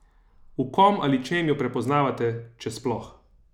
V kom ali čem jo prepoznavate, če sploh?